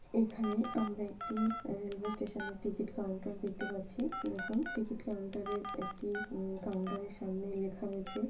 এখানে আমরা একটি আহ রেলওয়ে স্টেশন -এর টিকিট কাউন্টার দেখতে পাচ্ছি দেখুন টিকিট কাউন্টার -এর একটি-- উম কাউন্টার এর সামনে লেখা রয়েছে--